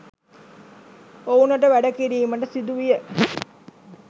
ඔවුනට වැඩ කිරීමට සිදු විය